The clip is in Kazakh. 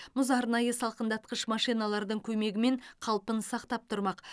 мұз арнайы салқындатқыш машиналардың көмегімен қалпын сақтап тұрмақ